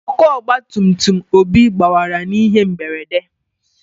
Ọkụ ọgba tum tum Obi gbawara n'ihe mberede.